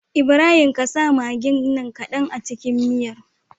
Ibrahim ƙasa maggin nan kadan a cikin miyar